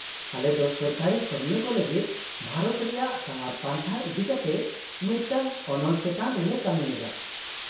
- ᱟᱞᱮ ᱫᱚ ᱥᱚᱨᱠᱟᱨᱤ ᱠᱟᱹᱢᱤᱭᱟᱹ ᱠᱚ ᱞᱟᱹᱜᱤᱫ ᱵᱷᱟᱨᱚᱛ ᱨᱮᱭᱟᱜ ᱥᱟᱣᱟᱨ ᱯᱟᱱᱛᱷᱟ ᱤᱫᱤ ᱠᱟᱛᱮ ᱢᱤᱫᱴᱟᱝ ᱚᱱᱚᱞ ᱪᱮᱛᱟᱱ ᱨᱮᱞᱮ ᱠᱟᱹᱢᱤ ᱮᱫᱟ᱾